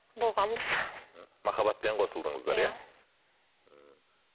болғанбыз мхм махаббатпен қосылдыңыздар иә ммм